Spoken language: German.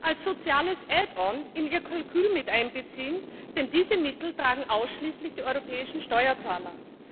als soziales in ihr Kalkül mit einbeziehen, denn diese Mittel tragen ausschließlich die europäischen Steuerzahler.